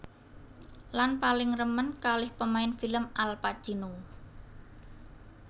Lan paling remen kalih pemain film Al Pacino